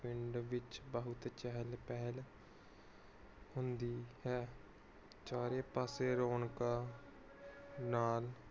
ਪਿੰਡ ਵਿੱਚ ਬਹੁਤ ਚਹਲ ਪਹਲ ਹੁੰਦੀ ਹੈ ਚਾਰੇ ਪਾਸੇ ਰੌਣਕਾਂ ਨਾਲ